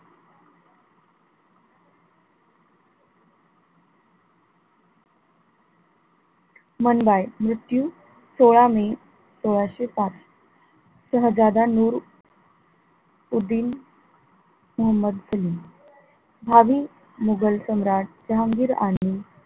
मनुबाई मृत्यू सोळा मे सोळाशे पाच शाहजादा नूर उद्दीन मोहम्मद बिन भावी मुघल सम्राट जहांगीर आरणि,